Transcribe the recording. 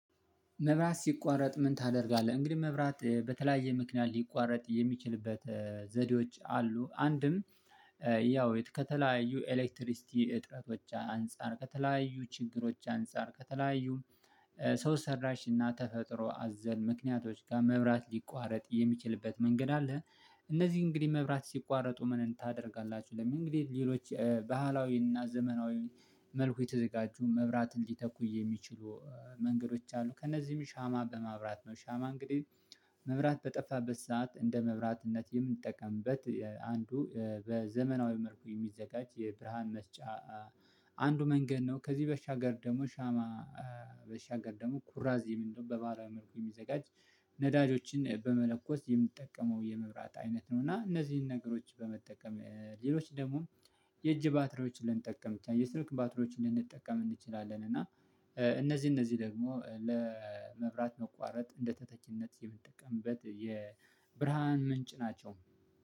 መብራት ሲቋረጥ ምን ታደርጋለህ? እንግዲህ መብራት በተለያየ ምክንያት ሊቋረጥ የሚችልበት ዘዴዎች አሉ ያው ከተለያዩ ኤሌክትሪክ ሲቲ እጥረቶች አንፃር ከተለያዩ ችግሮች አንፃር ከተለያዩ ሰው ሰራሽ እና ተፈጥሮ አዘል ምክንያቶች ጋር መብራት ሊቋረጥ የሚችልበት መንገድ አለ እነዚህ እንግዲህ መብራት ሲቋረጡ ምን ታደርጋላችሁ ለሚልን እንግዲህ ሌሎች ባህላዊና ዘመናዊ መልኩ የተዘጋጁ መብራት ሊተኩ የሚችሉ መንገዶች አሉ ከእነዚህም ሻማ በማብራት ነው ሻማ እንግዲህ መብራት በጠፋበት ሰዓት እንደ መብራትነት የምንጠቀምበት አንዱ በዘመናዊ መልኩ የሚዘጋጅ የብርሃን መስጫ አንዱ መንገድ ነው ከዚህ በሻገር ደግሞ ሻማ በሻገር ደግሞ ኩራዝ የሚል ነው በባህላዊ መልኩ የሚዘጋጅ ነዳጆችን በመለኮስ የምንጠቀመው የመብራት አይነት ነው እና እነዚህን ነገሮች በመጠቀም ሌሎች ደግሞ የእጅ ባትሪዎችን ልንጠቀም የስልክ ባትሮችን ልንጠቀም እንችላለን እና እነዚህ እነዚህ ደግሞ ለመብራት መቋረጥ እንደ ተተኪነት የምንጠቀምበት የብርሃን ምንጭ ናቸው